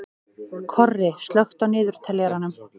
Korri, slökktu á niðurteljaranum.